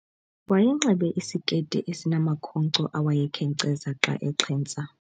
Wayenxibe isiketi esinamakhonkco awayekheknceza xa exhentsa.